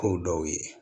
Ko dɔw ye